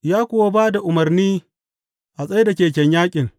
Ya kuwa ba da umarni a tsai da keken yaƙin.